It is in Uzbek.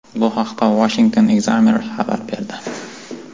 Bu haqda Washington Examiner xabar berdi .